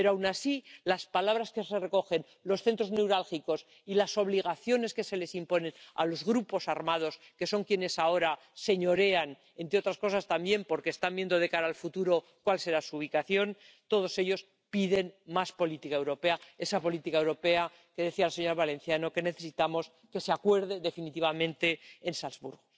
pero aun así las palabras que se recogen, los centros neurálgicos y las obligaciones que se les imponen a los grupos armados, que son quienes ahora señorean —entre otras cosas también porque están viendo de cara al futuro cuál será su ubicación—, todos ellos piden más política europea, esa política europea que, como decía la señora Valenciano, necesitamos que se acuerde definitivamente en Salzburgo.